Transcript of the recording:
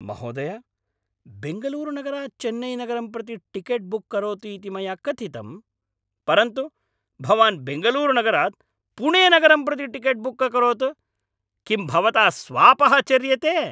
महोदय, बेङ्गलूरुनगरात् चेन्नैनगरं प्रति टिकेट् बुक् करोतु इति मया कथितम्, परन्तु भवान् बेङ्गलूरुनगरात् पुणेनगरं प्रति टिकेट् बुक् अकरोत्। किं भवता स्वापः चर्यते?